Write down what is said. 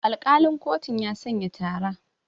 Alƙalin kotun ya sanya tara.